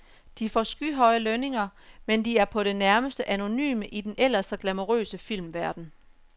De får skyhøje lønninger, men de er på det nærmeste anonyme i den ellers så glamourøse filmverden.